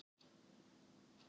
Klukkan hálf sex